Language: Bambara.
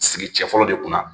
Sigi cɛ fɔlɔ de kunna